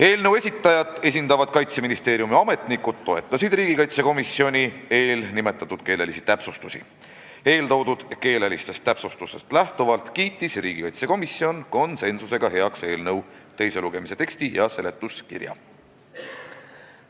Eelnõu esitajat esindavad Kaitseministeeriumi ametnikud toetasid neid riigikaitsekomisjoni täpsustusi ja nii kiitis riigikaitsekomisjon konsensusega heaks eelnõu teise lugemise teksti ja seletuskirja.